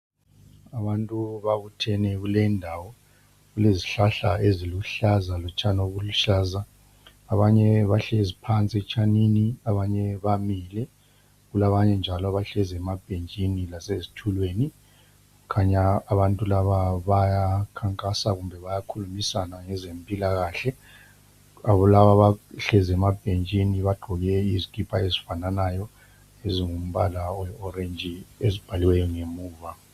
Abantu babuthene kule indawo. Kulezihlahla eziluhlaza, lotshani obuluhlaza. Abanye bahlezi phansi etshanini. Abanye bamile. Kulabanye njalo abahlezi emabhentshini, lasezithulweni. Kukhanya abantu laba, bazekhankasa, kumbe bayakhulumisana ngezempilakahle. Laba abahlezi emabhentshini, bagqoke izikipa ezifananayo, ezilombala oyi orange. Ezibhaliweyo ngemuva.